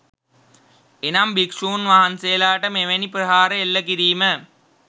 එනම් භික්ෂූන් වහන්සේලාට මෙවැනි ප්‍රහාර එල්ල කිරීම